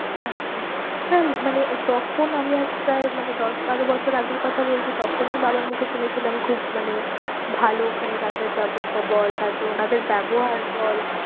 আচ্ছা হ্যাঁ মানে তখন আমি আজ প্রায় মানে দশ বারো বছর আগের কথা বলছি তখনই বাবার মুখে শুনেছিলাম খুব মানে ভালো ওখানে যাতা য়াত ব্যবস্থা বল তারপর ওনাদের ব্যবহার বল